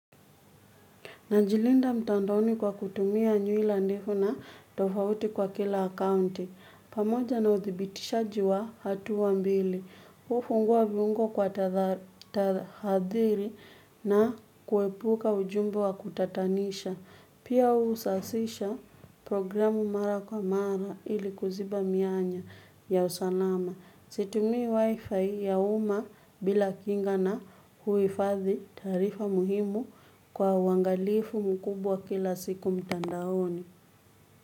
Najilinda mtandoni kwa kutumia nywila ndefu na tofauti kwa kila akaunti. Pamoja na utibitishaji wa hatua mbili. Ufungua viungo kwa tahadhiri na kuepuka ujumbe wa kutatanisha. Pia usasisha programu mara kwa mara ili kuziba mianya ya usalama. Situmii wi-fi ya uma bila kinga na huifadhi taarifa muhimu kwa uangalifu mkubwa kila siku mitandaoni.